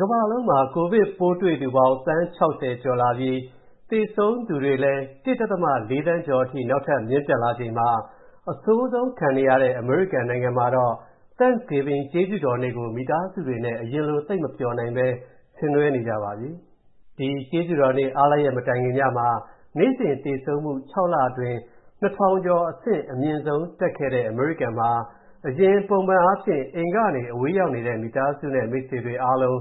ကမ္ဘာလုံးမှာ ကိုဗစ်ပိုးတွေ့သူပေါင်း သန်း ၆၀ ကျော်လာပြီး၊ သေဆုံးသူတွေလည်း ၁.၄ သန်းကျော်အထိ နောက်ထပ်မြင့်တက်လာချိန်မှာ၊ အဆိုးဆုံးခံနေရတဲ့ အမေရိကန်နိုင်ငံ မှာတော့ Thanksgiving ကျေးဇူးတော်နေ့ကို၊ မိသားစုတွေနဲ့ အရင်လိုသိပ်မပျှော်နိုင်ပဲ ဆင်နွဲနေကြပါပြီ။ ဒီ ကျေးဇူးတော်နေ့အားလပ်ရက်မတိုင်ခင်ညမှာ နေ့စဉ်သေဆုံးမူ ၆လအတွင်း ၂၀၀၀ကျော်အဆင့် အမြင့်ဆုံးတက်ခဲ့တဲ့ အမေရိကန်မှာ၊ အရင်ပုံမှန်အားဖြင့်၊ အိမ်ကနေ အဝေးရောက်နေတဲ့ မိသားစုနဲ့ မိတ်ဆွေတွေအားလုံး